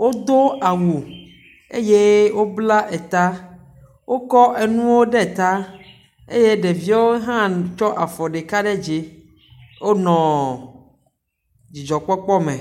Wodo awu eye wobla eta. Wokɔ enuwo ɖe eta eye ɖeviwo hã nnn tsɔ afɔ ɖeka ɖe dzi wonɔ dzidɔkpɔkpɔ me.